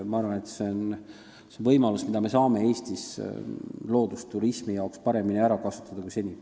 Ma arvan, et seda võimalust me saame Eestis loodusturismi jaoks paremini ära kasutada kui seni.